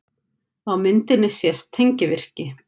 Á myndinni sést tengivirki.